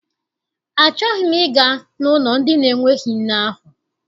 Achọghị m ịga n'ụlọ ndị na-enweghị nne ahụ.